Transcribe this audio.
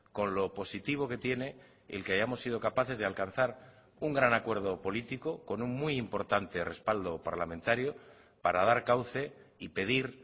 con lo positivo que tiene el que hayamos sido capaces de alcanzar un gran acuerdo político con un muy importante respaldo parlamentario para dar cauce y pedir